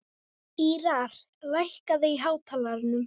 Ýrar, lækkaðu í hátalaranum.